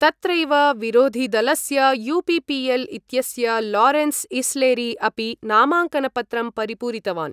तत्रैव विरोधिदलस्य यूपीपीएल इत्यस्य लारेंसइस्लेरी अपि नामाङ्कनपत्रं परिपूरितवान्।